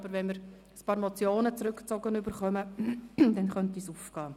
Aber wenn ein paar Motionen zurückgezogen werden, könnte es aufgehen.